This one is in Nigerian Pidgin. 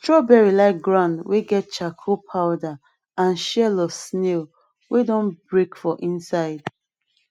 srawberry like ground wey get charcoal powder and shell of snail wey don break for inside